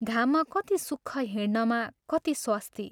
घाममा कति सुख हिंड्नमा कति स्वस्ति।